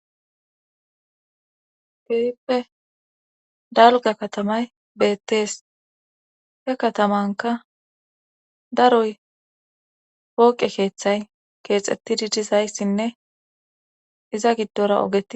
Gehippe dalga katamay beettees he katamanka daroy pooqe keeththay keexettidi dizayssinne iza giddora ogei.